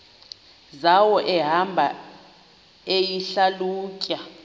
zawo ehamba eyihlalutya